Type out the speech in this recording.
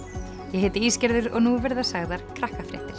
ég heiti Ísgerður og nú verða sagðar